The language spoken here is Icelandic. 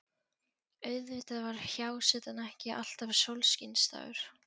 Auðvitað var hjásetan ekki alltaf sólskinsdagur.